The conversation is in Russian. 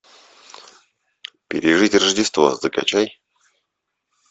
пережить рождество закачай